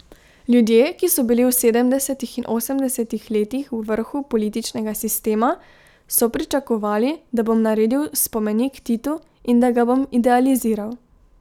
Ljudje, ki so bili v sedemdesetih in osemdesetih letih v vrhu političnega sistema, so pričakovali, da bom naredil spomenik Titu in da ga bom idealiziral.